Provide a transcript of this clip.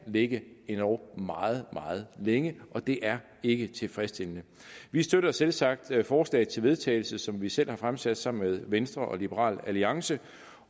ligge endog meget meget længe og det er ikke tilfredsstillende vi støtter selvsagt det forslag til vedtagelse som vi selv har fremsat sammen med venstre og liberal alliance